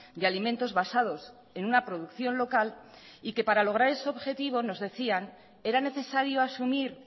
de alimentos basados en una producción local y que para lograr ese objetivo nos decían era necesario asumir